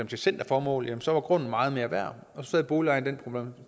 til centerformål jamen så grund meget mere værd og så sad boligejeren med